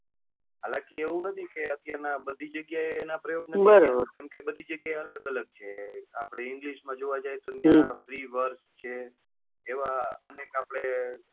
હાલ કે એવું નથી કે અત્યાર ના બધી જગ્યા એ પ્રયોગ નથી કેમ કે બધી જગ્યા એ અલગ અલગ છે અઆપડે english માં જોવા જઈએ તો ત્યાં preaword છે એવા અનેક આપડે.